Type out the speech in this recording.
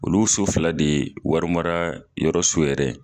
Olu so fila de ye warimararayɔrɔ so yɛrɛ ye